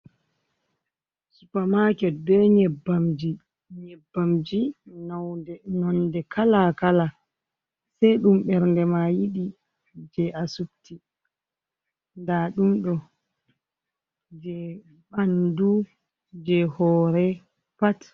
Supamaaket ɓe nyebbamji, nonnde kala-kala, sey ɗum ɓernde ma yiɗi, jey a subti, nda ɗum ɗo jey ɓanndu, jey hoore pat.